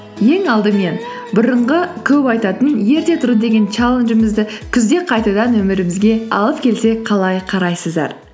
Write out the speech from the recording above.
ең алдымен бұрынғы көп айтатын ерте тұру деген чалленджімізді күзде қайтадан өмірімізге алып келсек қалай қарайсыздар